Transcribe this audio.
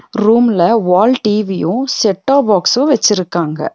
ரூம்ல wall TV set top box வெச்சிருக்காங்க.